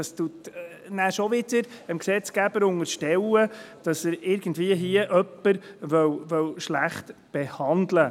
Das unterstellt dem Gesetzgeber schon wieder, er wolle hier jemanden schlecht behandeln.